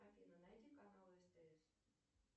афина найди канал стс